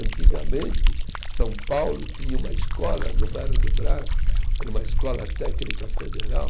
Antigamente, São Paulo tinha uma escola no bairro do Brás, era uma escola técnica federal,